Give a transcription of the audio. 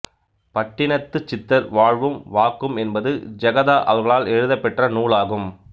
பட்டினத்துச் சித்தர் வாழ்வும் வாக்கும் என்பது ஜெகாதா அவர்களால் எழுதப்பெற்ற நூலாகும்